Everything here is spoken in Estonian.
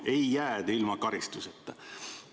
Ei jää te ilma karistuseta.